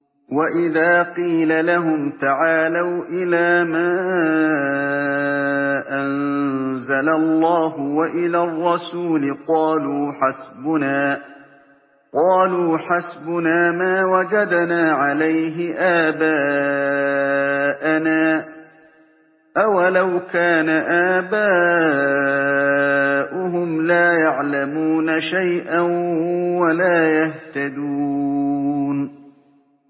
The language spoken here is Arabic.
وَإِذَا قِيلَ لَهُمْ تَعَالَوْا إِلَىٰ مَا أَنزَلَ اللَّهُ وَإِلَى الرَّسُولِ قَالُوا حَسْبُنَا مَا وَجَدْنَا عَلَيْهِ آبَاءَنَا ۚ أَوَلَوْ كَانَ آبَاؤُهُمْ لَا يَعْلَمُونَ شَيْئًا وَلَا يَهْتَدُونَ